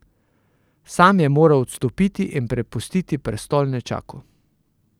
Sam je moral odstopiti in prepustiti prestol nečaku.